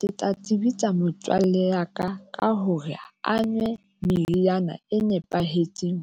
Ke tla tsebisa motswalle ya ka ka hore a nwe meriana e nepahetseng